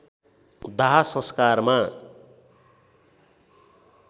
दाह संस्कारमा